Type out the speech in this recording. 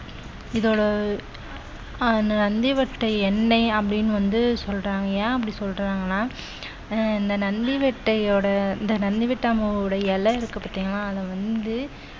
இதோ நந்தி வட்டை எண்ணெய் அப்படீன்னு வந்து சொல்றாங்க ஏன் அப்படி சொல்றாங்கன்னா அஹ் இந்த நந்தி வட்டையோட இந்த நந்தி விட்டாமாவோட இலை இருக்கு பார்த்தீங்களா அத வந்து